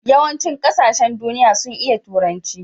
yawan cin ƙasashen duniya sun iya turanci